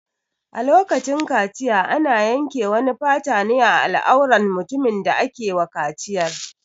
A lokacin kaciya ana yanke wani fata ne a al'auran mutumin da ake wa kaciyar.